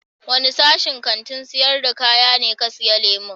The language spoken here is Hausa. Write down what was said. Wanda sashin Kantin sayar da kaya ne ka siya lemu?